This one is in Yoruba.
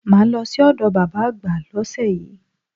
Màá lọ sí òdo bàbá àgbà lósè yíí